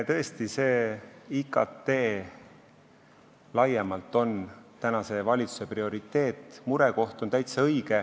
Tõesti, see IKT laiemalt on tänase valitsuse prioriteet, murekoht on täitsa õige.